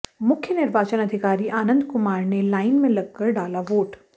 मुख्य निर्वाचन अधिकारी आनंद कुमार ने लाइन में लगकर डाला वोट